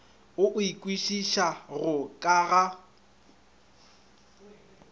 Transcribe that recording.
o e kwešišago ka ga